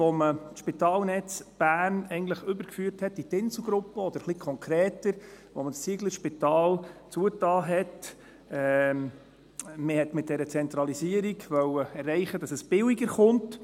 Als man das Spitalnetz Bern eigentlich in die Inselgruppe überführte, oder ein bisschen konkreter, als man das Zieglerspital schloss, wollte man mit dieser Zentralisierung erreichen, dass es billiger wird.